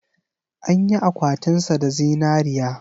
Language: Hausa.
An yi akwatinsa da zinariya.